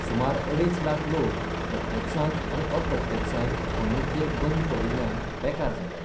सुमार अडेच लाख लोक प्रत्यक्षांत आनी अप्रत्यक्षांत खण उद्वेग बंद पडिल्ल्यान बेकार जाल्यात.